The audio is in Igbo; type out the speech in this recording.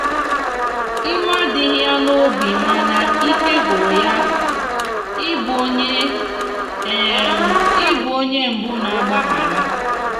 iwe adighi ya n'obimana ike gwụrụ ya ị bụ onye ị bụ onye mbu na agbaghara